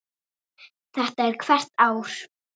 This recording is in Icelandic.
Þetta er hvert ár?